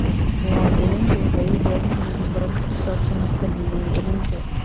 Muwaadiniintu waxay u baahan yihiin waxbarasho ku saabsan habka diiwaangelinta.